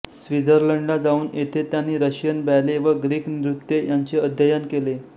स्वित्झर्लंडला जाऊन तेथे त्यांनी रशियन बॅले व ग्रीक नृत्ये यांचे अध्ययन केले